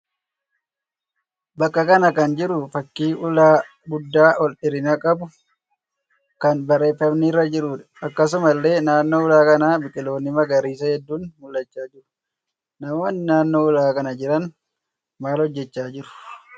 Bakka kana kan jiru fakkii ulaa guddaa ol dheerina qabu kan barreeffamni irra jiruudha. Akkasumallee naannoo ulaa kanaa biqiloonni magariisaa hedduun mul'achaa jiru. Namoonni naannoo ulaa kanaa jiran maal hojjechaa jiru?